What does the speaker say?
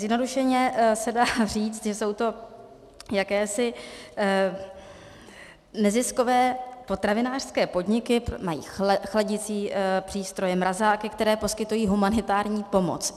Zjednodušeně se dá říct, že jsou to jakési neziskové potravinářské podniky, mají chladicí přístroje, mrazáky, které poskytují humanitární pomoc.